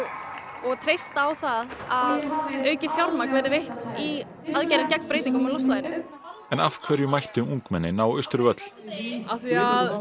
og treysta á að auknu fjármagni verði veitt í aðgerðir gegn breytingum á loftslaginu en af hverju mættu ungmennin á Austurvöll af því